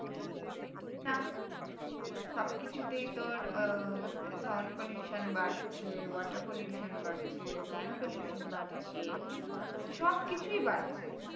না সবকিছুই তে তো ও তোর আহ sound pollution বাড়ছে water pollution বাড়ছে land pollution বাড়ছে সবকিছুই বাড়ছে।